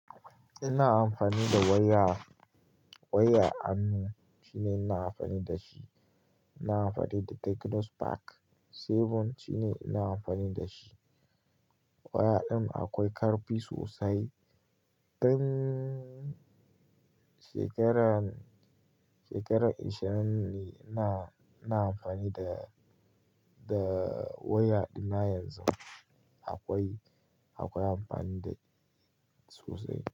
Ina amfani da waya, waya Anno shine ina amfani da shi. Ina amfani da Technospark seven shine ina amfani da shi. Waya ɗin akwai ƙarfi sosai. Tun shekaran, shekaran ishirin ne ina, ina amfani da, da waya ɗin na yanzun. Akwai, akwai amfani da sosai.